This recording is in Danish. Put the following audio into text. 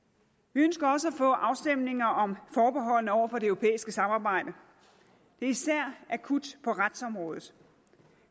vi ønsker også at få afstemninger om forbeholdene over for det europæiske samarbejde det er især akut på retsområdet